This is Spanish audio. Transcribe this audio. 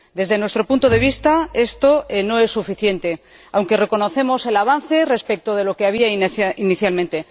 Desde nuestro punto de vista, esto no es suficiente, aunque reconocemos el avance respecto de lo que había inicialmente.